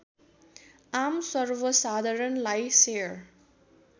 आम सर्वसाधारणलाई सेयर